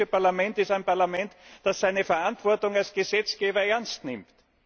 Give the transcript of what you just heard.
Das Europäische Parlament ist ein Parlament, das seine Verantwortung als Gesetzgeber ernst nimmt.